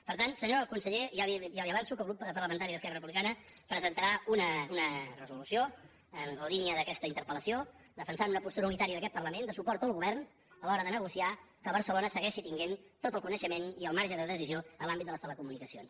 per tant senyor conseller ja li avanço que el grup parlamentari d’esquerra republicana presentarà una resolució en la línia d’aquesta interpel·lació defensant una postura unitària d’aquest parlament de suport al govern a l’hora de negociar que barcelona segueixi tenint tot el coneixement i el marge de decisió en l’àm·bit de les telecomunicacions